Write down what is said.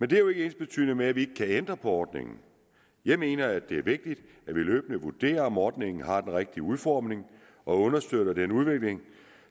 det er jo ikke ensbetydende med at vi ikke kan ændre på ordningen jeg mener det er vigtigt at vi løbende vurderer om ordningen har den rigtige udformning og understøtter den udvikling